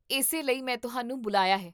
ਇਸੇ ਲਈ ਮੈਂ ਤੁਹਾਨੂੰ ਬੁਲਾਇਆ ਹੈ